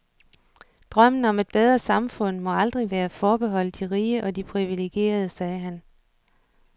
Drømmen om et bedre samfund må aldrig være forbeholdt de rige og de privilegerede, sagde han.